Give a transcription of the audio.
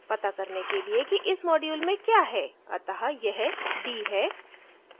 पता लगाने के लिए कि इस module में क्या है अत: यह d है